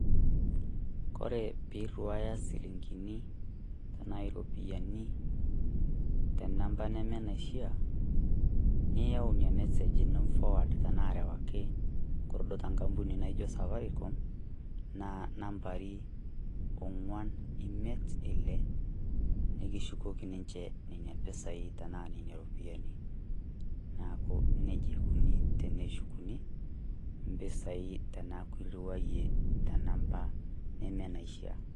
Kore piiriwaaya silingini anaye iropiani te namba nemenaishia, niyau ina message ino niforward tenaa arewaki te enkampuni naijo safaricom naa inambai ong'uan-imiet-ile nekishukoki ninje nena pesai tenaa iminie iropiani. Naaku neja ikuni teneshukuni impisai tenaaku iriwayie te nambai nemenaishaa.